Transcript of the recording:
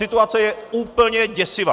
Situace je úplně děsivá!